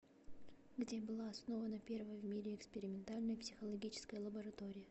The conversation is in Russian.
где была основана первая в мире экспериментальная психологическая лаборатория